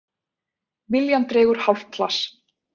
Viljann dregur hálft hlass.